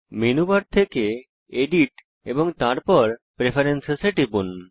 menu bar থেকে edit এবং তারপর প্রেফারেন্স এ টিপুন